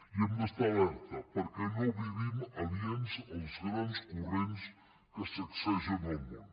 i hem d’estar alerta perquè no vivim aliens als grans corrents que sacsegen el món